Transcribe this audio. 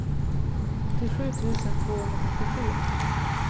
åttiosju tusen tvåhundratrettiosju